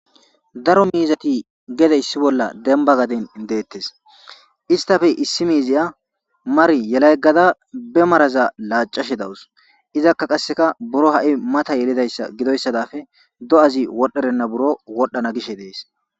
daro miizati gedeyssi bolla denba gaden deettes istafe issi miiziya mar yelayggada be maraza laacashe dawus izakka qasseka buro ha7i mata yelidayssa gidoyssadafe do7azi wodherenna buro wodhdhana gishe dees